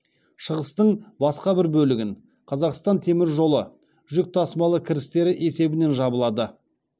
шығыстың басқа бір бөлігін қазақстан темір жолы жүк тасымалы кірістері есебінен жабылады